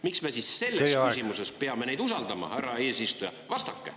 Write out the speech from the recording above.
Miks me siis selles küsimuses peame neid usaldama, härra eesistuja?